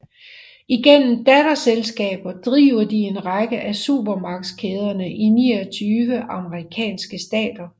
Igennem datterselskaber driver de en række af supermarkedskæder i 29 amerikanske stater